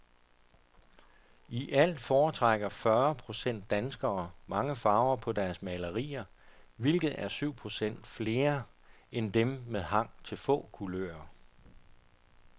I alt foretrækker fyrre procent danskere mange farver på deres malerier, hvilket er syv procent flere end dem med hang til få kulører.